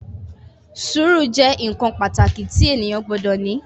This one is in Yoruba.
Sùúrù jẹ́ nǹkan pàtàkì tí ènìyàn gbọdọ̀ ní